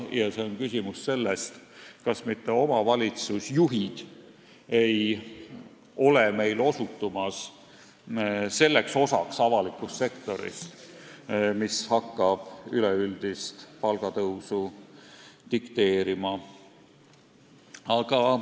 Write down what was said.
Ja see on küsimus sellest, kas mitte omavalitsusjuhid ei osutu meil selleks osaks avalikust sektorist, mis hakkab üleüldist palgatõusu dikteerima.